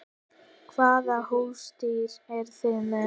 Hvaða húsdýr eru þið með?